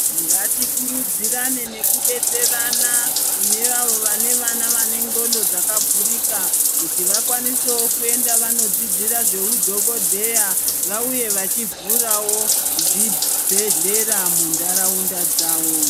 Ngati kurudzirane nekudetserana kune avo vane vana vane ndxondo dzakavhurika, kuti vakwanisewo kuenda vanodzidzira zveu dhogodheya vauye vachivhurawo zvibhedhlera muntaraunda dzawo.